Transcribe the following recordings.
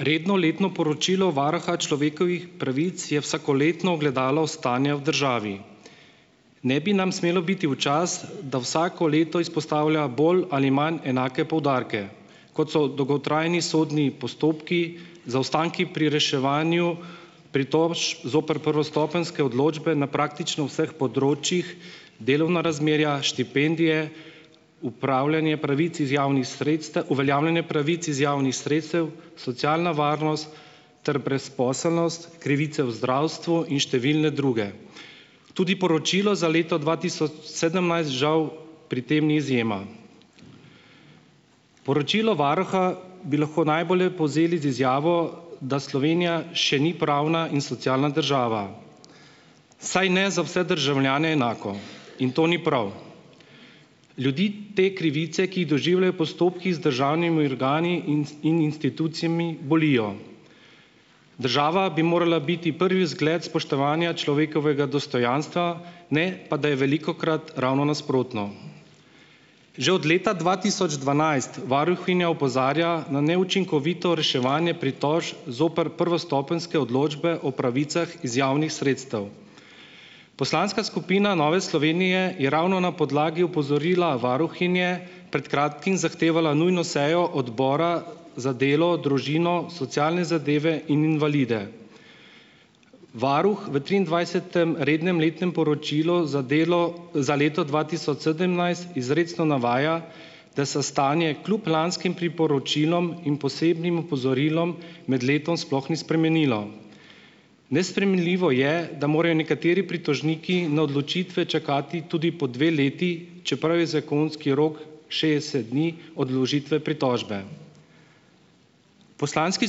Redno letno poročilo varuha človekovih pravic je vsakoletno ogledalo stanja v državi. Ne bi nam smelo biti v čast, da vsako leto izpostavlja bolj ali manj enake poudarke, kot so dolgotrajni sodni postopki, zaostanki pri reševanju pritožb zoper prvostopenjske odločbe na praktično vseh področjih, delovna razmerja, štipendije, upravljanje pravic iz javnih sredstev, uveljavljanje pravic iz javnih sredstev, socialna varnost ter brezposelnost, krivice v zdravstvu in številne druge. Tudi poročilo za leto dva tisoč sedemnajst žal pri tem ni izjema. Poročilo varuha bi lahko najbolje povzeli z izjavo, da Slovenija še ni pravna in socialna država, vsaj ne za vse državljane enako. In to ni prav. Ljudi te krivice, ki jih doživljajo postopki z državnimi organi in institucijami, bolijo. Država bi morala biti prvi zgled spoštovanja človekovega dostojanstva, ne pa da je velikokrat ravno nasprotno. Že od leta dva tisoč dvanajst varuhinja opozarja na neučinkovito reševanje pritožb zoper prvostopenjske odločbe o pravicah iz javnih sredstev. Poslanska skupina Nove Slovenije je ravno na podlagi opozorila varuhinje pred kratkim zahtevala nujno sejo odbora za delo, družino, socialne zadeve in invalide. Varuh v triindvajsetem rednem letnem poročilu za delo za leto dva tisoč sedemnajst izrecno navaja, da se stanje klub lanskim priporočilom in posebnim opozorilom med letom sploh ni spremenilo. Nespremenljivo je, da morajo nekateri pritožniki na odločitve čakati tudi po dve leti, čeprav je zakonski rok šestdeset dni od vložitve pritožbe. Poslanski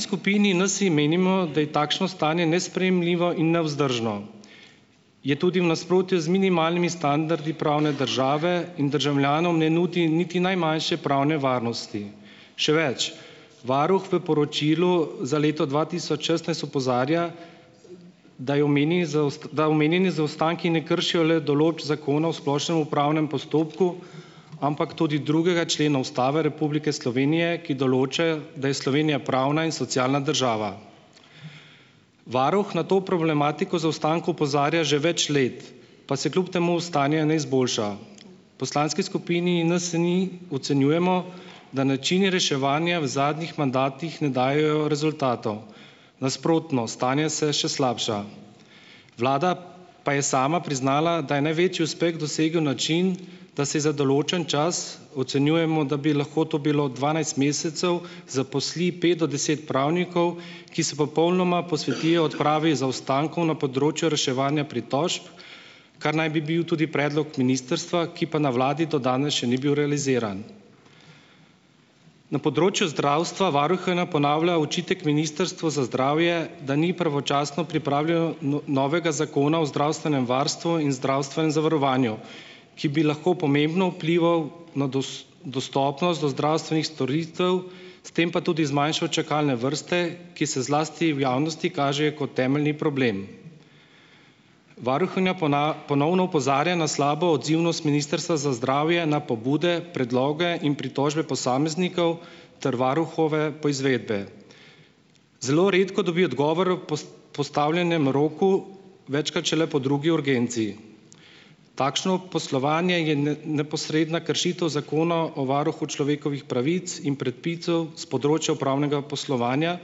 skupini Nsi menimo, da je takšno stanje nesprejemljivo in nevzdržno. Je tudi v nasprotju z minimalnimi standardi pravne države in državljanom ne nudi niti najmanjše pravne varnosti, še več. Varuh v poročilu za leto dva tisoč šestnajst opozarja, da je da omenjeni zaostanki ne kršijo le določb Zakona o splošnem upravnem postopku, ampak tudi drugega člena Ustave Republike Slovenije, ki določa, da je Slovenija pravna in socialna država. Varuh na to problematiko v zaostanku opozarja že več let pa se kljub temu stanje ne izboljša. V Poslanski skupini NSi ocenjujemo, da načini reševanja v zadnjih mandatih ne dajejo rezultatov, nasprotno, stanje se še slabša. Vlada pa je sama priznala, da je največji uspeh dosegel način, da se za določen čas ocenjujemo, da bi lahko to bilo dvanajst mesecev zaposli pet do deset pravnikov, ki se popolnoma posvetijo odpravi zaostankov na področju reševanja pritožb, kar naj bi bil tudi predlog ministrstva, ki pa na vladi do danes še ni bil realiziran. Na področju zdravstva varuhinja ponavlja očitek ministrstvu za zdravje, da ni pravočasno pripravilo novega Zakona o zdravstvenem varstvu in zdravstvenem zavarovanju, ki bi lahko pomembno vplival na dostopnost do zdravstvenih storitev, s tem pa tudi zmanjšal čakalne vrste, ki se zlasti v javnosti kažejo kot temeljni problem. Varuhinja ponovno opozarja na slabo odzivnost ministrstva za zdravje na pobude, predloge in pritožbe posameznikov ter varuhove poizvedbe. Zelo redko dobi odgovor o postavljenem roku, večkrat šele po drugi urgenci. Takšno poslovanje je neposredna kršitev Zakona o varuhu človekovih pravic in predpisov s področja upravnega poslovanja,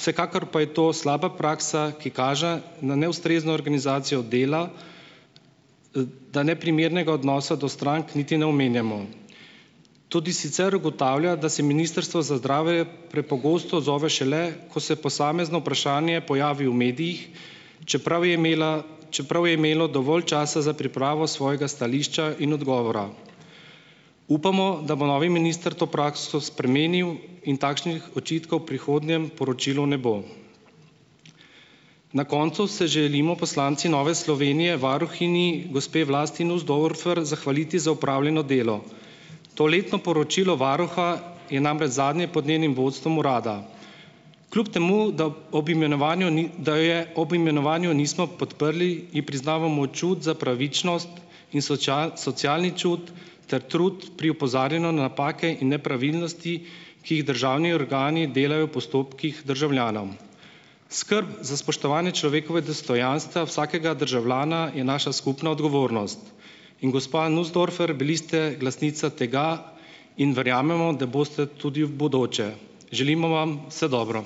vsekakor pa je to slaba praksa, ki kaže na neustrezno organizacijo dela, da neprimernega odnosa do strank niti ne omenjamo. Tudi sicer ugotavlja, da se ministrstvo za zdravje prepogosto odzove šele, ko se posamezno vprašanje pojavi v medijih, čeprav je imela, čeprav je imelo dovolj časa za pripravo svojega stališča in odgovora. Upamo, da bo novi minister to prakso spremenil in takšnih očitkov v prihodnjem poročilu ne bo. Na koncu se želimo poslanci Nove Slovenije varuhinji gospe Vlasti Nussdorfer zahvaliti za opravljeno delo. To letno poročilo varuha je namreč zadnje pod njenim vodstvom urada. Kljub temu da ob imenovanju ni, da je ob imenovanju nismo podprli, in priznavamo čut za pravičnost in socialni čut ter trud pri opozarjanju napake in nepravilnosti, ki jih državni organi delajo v postopkih državljanom. Skrb za spoštovanje človekovega dostojanstva vsakega državljana je naša skupna odgovornost in gospa Nussdorfer bili ste glasnica tega in verjamemo, da boste tudi v bodoče. Želimo vam vse dobro!